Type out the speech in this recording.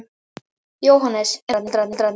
Jóhannes: En foreldrarnir?